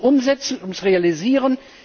Es geht ums Umsetzen, ums Realisieren.